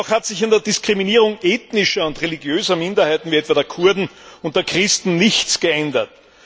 Auch hat sich an der Diskriminierung ethnischer und religiöser Minderheiten wie etwa der Kurden und der Christen nichts geändert.